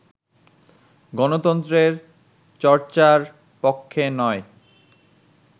গণতন্ত্রের চর্চার পক্ষে নয়